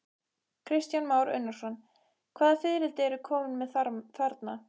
Kristján Már Unnarsson: Hvaða fiðrildi ertu kominn með þarna?